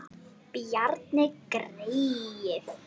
Bjarni greyið!